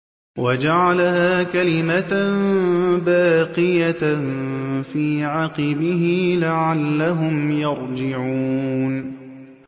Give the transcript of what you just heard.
وَجَعَلَهَا كَلِمَةً بَاقِيَةً فِي عَقِبِهِ لَعَلَّهُمْ يَرْجِعُونَ